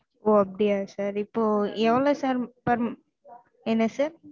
ஓஹ் அப்படியா sir இப்போ எவ்ளோ sir per என்ன sir